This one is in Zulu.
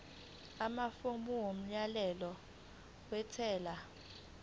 amafomu omyalelo wentela